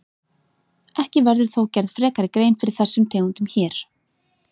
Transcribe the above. Ekki verður þó gerð frekari grein fyrir þessum tegundum hér.